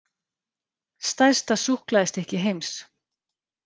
Stærsta súkkulaðistykki heims